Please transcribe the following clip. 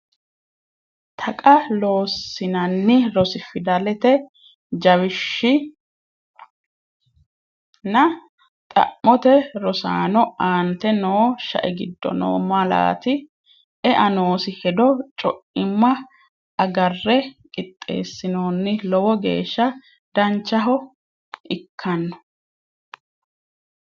Taqa Loossinanni Rs Fidalete jawishshi G nna xa’mote Rosaano, aante noo shae giddo noo malaati ? e’a noosi hedo co’imma agarre qixxeessinoonni Lowo geeshsha danchaho ikkano?